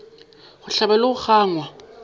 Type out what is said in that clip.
go hlabja le go gangwa